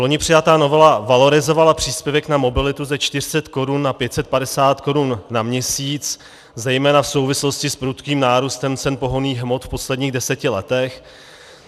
Vloni přijatá novela valorizovala příspěvek na mobilitu ze 400 korun na 550 korun na měsíc zejména v souvislosti s prudkým nárůstem cen pohonných hmot v posledních deseti letech.